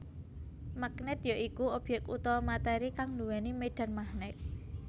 Magnèt ya iku obyek utawa matéri kang nduwéni médhan magnèt